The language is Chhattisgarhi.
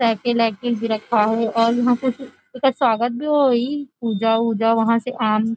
साइकिल -आइकल भी रखाये हे आगे और यहाँ पे उनका स्वागत भी होइ पूजा -उजा वहाँ से आन --